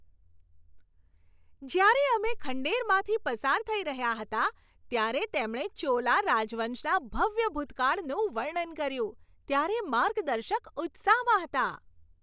જ્યારે અમે ખંડેરમાંથી પસાર થઈ રહ્યા હતા ત્યારે તેમણે ચોલા રાજવંશના ભવ્ય ભૂતકાળનું વર્ણન કર્યું ત્યારે માર્ગદર્શક ઉત્સાહમાં હતા.